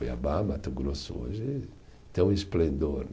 Cuiabá, Mato Grosso, hoje tem um esplendor.